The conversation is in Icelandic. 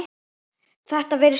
Þetta vissir þú alveg pabbi.